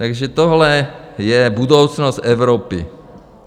Takže tohle je budoucnost Evropy.